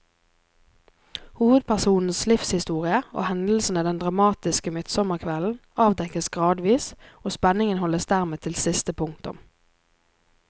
Hovedpersonens livshistorie og hendelsene den dramatiske midtsommerkvelden avdekkes gradvis, og spenningen holdes dermed til siste punktum.